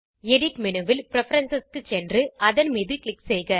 edit menu ல் preference க்கு சென்று அதன் மீது க்ளிக் செய்க